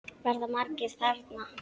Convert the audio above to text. Verða margir þarna?